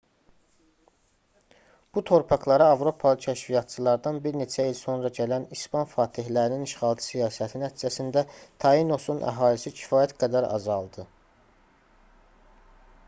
bu torpaqlara avropalı kəşfiyyatçılardan bir neçə il sonra gələn i̇span fatehlərinin işğalçı siyasəti nəticəsində tainosun əhalisi kifayət qədər azaldı